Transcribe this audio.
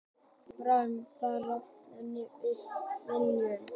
Brann bara bundinn við bryggjuna.